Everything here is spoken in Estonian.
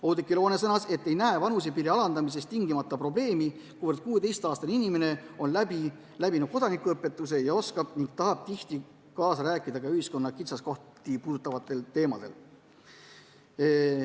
Oudekki Loone ütles, et ei näe vanusepiiri alandamises tingimata probleemi, kuivõrd 16-aastane inimene on läbinud kodanikuõpetuse ning oskab ja tahab tihti kaasa rääkida ka ühiskonna kitsaskohti puudutavatel teemadel.